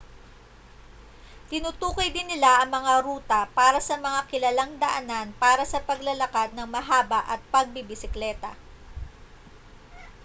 tinutukoy din nila ang mga ruta para sa mga kilalang daanan para sa paglalakad nang mahaba at pagbibisikleta